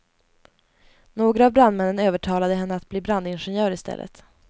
Några av brandmännen övertalade henne att bli brandingenjör i stället.